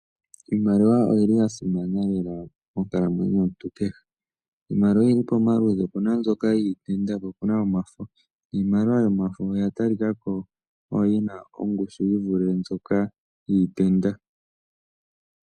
Iimaliwa oyili ya simana lela monkalamwenyo yomuntu kehe. Iimaliwa oyili pamaludhi, opuna mbyoka yiitenda po opuna omafo. Iimaliwa yomafo oya talika ko oyo yina ongushu yi vule mbyoka yiitenda.